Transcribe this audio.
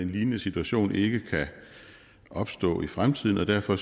lignende situation ikke kan opstå i fremtiden og derfor